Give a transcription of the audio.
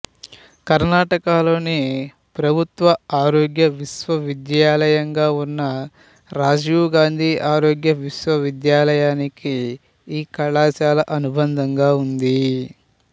కర్ణాటకలోని ప్రభుత్వ ఆరోగ్య విశ్వవిద్యాలయంగా ఉన్న రాజీవ్ గాంధీ ఆరోగ్య విశ్వవిద్యాలయానికి ఈ కళాశాల అనుబంధంగా ఉంది